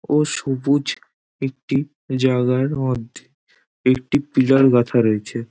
ও সবুজ একটি জাগার মধ্যে একটি পিলার গাঁথা রয়েছে।